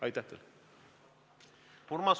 Aitäh teile!